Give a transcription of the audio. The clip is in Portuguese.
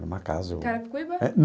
É uma casa o...Carapicuíba?